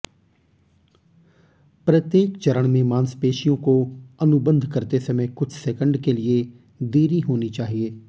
प्रत्येक चरण में मांसपेशियों को अनुबंध करते समय कुछ सेकंड के लिए देरी होनी चाहिए